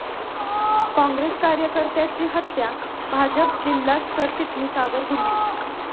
काँग्रेस कार्यकर्त्याची हत्या, भाजप जिल्हा सरचिटणीसावर गुन्हा